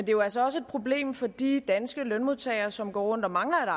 jo altså også et problem for de danske lønmodtagere som går rundt og mangler